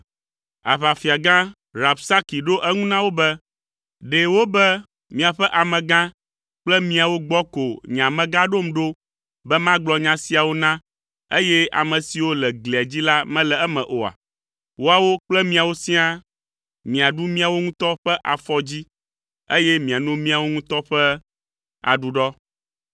Aʋafiagã Rabsaki ɖo eŋu na wo be, “Ɖe wobe miaƒe amegã kple miawo gbɔ ko nye amegã ɖom ɖo be magblɔ nya siawo na, eye ame siwo le glia dzi la mele eme oa? Woawo kple miawo siaa, miaɖu miawo ŋutɔ ƒe afɔdzi, eye miano miawo ŋutɔ ƒe aɖuɖɔ.”